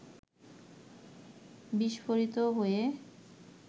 বিস্ফোরিত হয়ে